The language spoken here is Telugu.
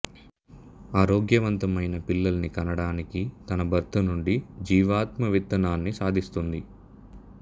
ఆరోగ్యవంతమైన పిల్లల్ని కనడానికి తన భర్తనుండి జీవాత్మ విత్తనాన్ని సాధిస్తుంది